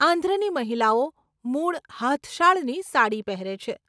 આંધ્રની મહિલાઓ મૂળ હાથશાળની સાડી પહેરે છે.